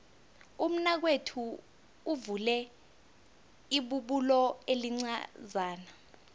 umnakwethu uvule ibubulo elincazana